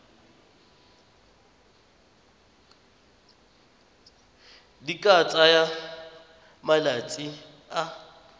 di ka tsaya malatsi a